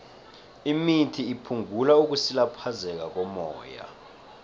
imithi iphungula ukusilaphezeka kommoya